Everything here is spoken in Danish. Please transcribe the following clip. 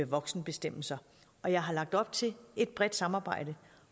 voksenbestemmelser og jeg har lagt op til et bredt samarbejde